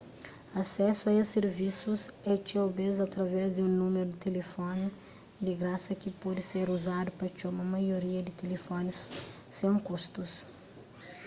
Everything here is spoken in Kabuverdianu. asesu a es sirvisus é txeu bês através di un númeru di tilifoni di grasa ki pode ser uzadu pa txoma maioria di tilifonis sen kustus